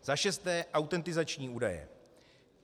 Za šesté, autentizační údaje.